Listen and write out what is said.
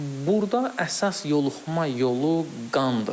Burda əsas yoluxma yolu qandır.